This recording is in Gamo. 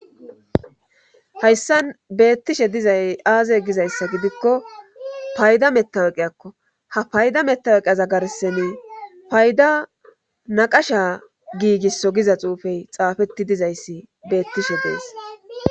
Hayssa beettishe dizay aaze gizayssa gidikko payda metaweqeyakko ha payda metaweqiaza garseni payda naqasha giigisso giza xuufey xaafetti dizayssi beettishe dees